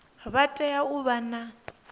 vha tea u vha na